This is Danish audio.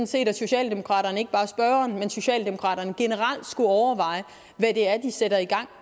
set at socialdemokraterne ikke bare spørgeren men socialdemokraterne generelt skulle overveje hvad det er de sætter i gang